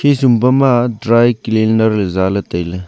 khisum pama dry cleaner Jale taile.